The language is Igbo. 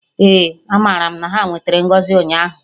Eh, amaram na ha nwetere ngọzi ụnyaahụ